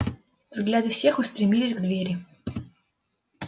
взгляды всех устремились к двери